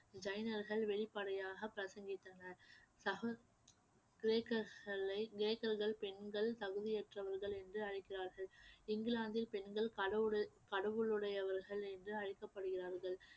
ஜைனர்கள் வெளிப்படையாக பிரசவித்தனர் சக கிரேக்களை கிரேக்கர்கள் பெண்கள் தகுதியற்றவர்கள் என்று அழைக்கிறார்கள் இங்கிலாந்தில் பெண்கள் கடவுடு~ கடவுளுடையவர்கள் என்று அழைக்கப்படுகிறார்கள்